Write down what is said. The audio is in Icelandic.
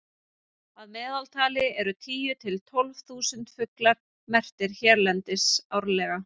að meðaltali eru tíu til tólf þúsund fuglar merktir hérlendis árlega